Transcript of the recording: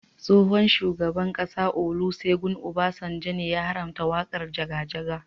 Tsohon shugaban ƙasa Olusegun Obasanjo ne ya haramta waƙar jaga jaga.